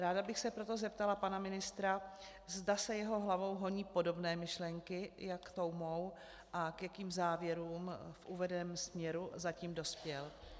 Ráda bych se proto zeptala pana ministra, zda se jeho hlavou honí podobné myšlenky jako tou mou a k jakým závěrům v uvedeném směru zatím dospěl.